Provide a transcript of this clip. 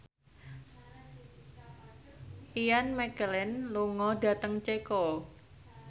Ian McKellen lunga dhateng Ceko